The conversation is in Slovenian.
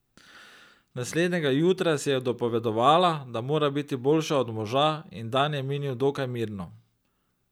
Naslednjega jutra si je dopovedovala, da mora biti boljša od moža, in dan je minil dokaj mirno.